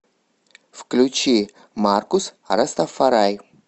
включи маркус растафарай